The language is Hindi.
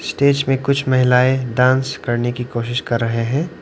स्टेज में कुछ महिलाएं डांस करने की कोशिश कर रहे हैं।